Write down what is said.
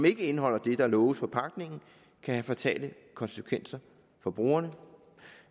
ikke indeholder det der loves på pakningen kan have fatale konsekvenser for brugerne